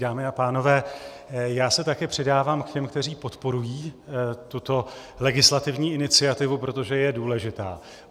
Dámy a pánové, já se taky přidávám k těm, kteří podporují tuto legislativní iniciativu, protože je důležitá.